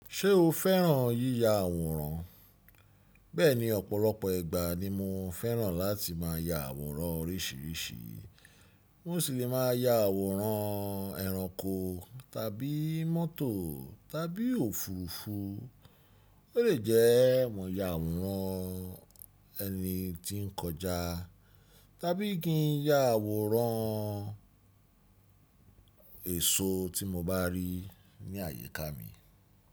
Ṣé o fẹ́ràn yíya àwòrán? Bẹ́ẹ̀ni, ọ̀pọ̀lọpọ̀ ìgbà ni mo fẹ́ràn láti máa ya àwòrán oríṣiríṣi. Mo sì lè máa ya àwòrán ẹranko tàbí mọ́tò tàbí òfuurufú. Ó lè jẹ́ mo ya àwòrán ẹni tí ń kọjá tàbí kí n ya àwòrán èso tí mo bá rí ní àyíká mi.